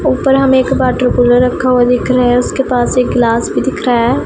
ऊपर हम एक वाटर कूलर रखा हुआ दिख रहा है उसके पास एक ग्लास भी दिख रहा है।